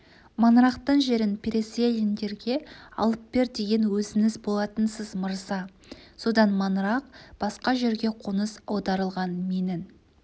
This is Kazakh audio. маңырақтың жерін переселендерге алып бер деген өзіңіз болатынсыз мырза содан маңырақ басқа жерге қоныс аударылған менің